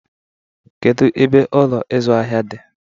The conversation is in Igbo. Kedu ebe Ụlọ ịzụ ahịa dị?